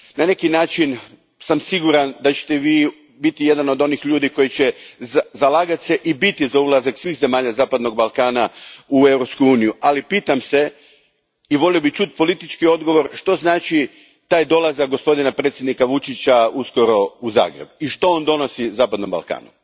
Na neki sam način siguran da ćete Vi biti jedan od onih ljudi koji će se zalagati i biti za ulazak svih zemalja zapadnog Balkana u Europsku uniju, ali pitam se i volio bih čuti politički odgovor što znači taj dolazak gospodina predsjednika Vučića uskoro u Zagreb i što on donosi zapadnom Balkanu?